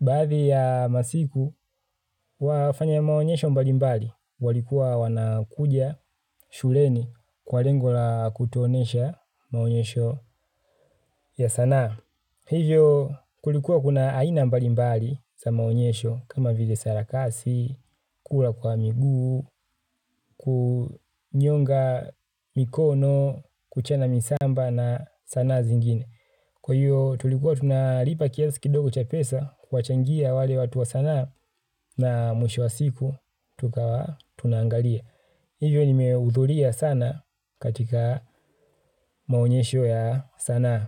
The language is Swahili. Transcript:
baadhi ya masiku, wafanya maonyesho mbalimbali. Walikuwa wanakuja shuleni kwa ringo la kutuonyesha maonyesho ya sanaa. Na hivyo kulikuwa kuna aina mbali mbali za maonyesho kama vile sarakasi, kura kwa miguu, kunyonga mikono, kuchana misamba na sanaa zingine. Kwa hivyo tulikuwa tunalopa kiasi kidogo cha pesa kuwachangia wale watu wa sanaa na mwisho wa siku tunangalia. Hivyo nimeudhuria sana katika maonyesho ya sanaa.